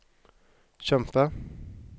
kjempe